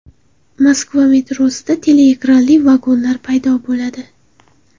Moskva metrosida teleekranli vagonlar paydo bo‘ladi.